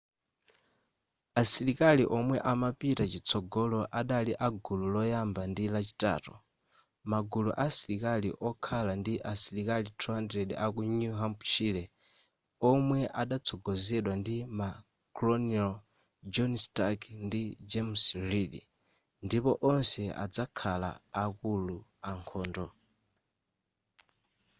asilikali omwe amapita chitsogolo adali a gulu loyamba ndi lachitatu magulu asilikali okhala ndi asilikali 200 aku new hampshire omwe adatsogozedwa ndi ma colonel john stark ndi james reed ndipo onse adazakhala akulu ankhondo